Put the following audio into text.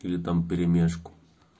они там в перемешку